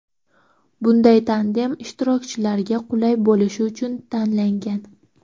Bunday tandem ishtirokchilarga qulay bo‘lishi uchun tanlangan.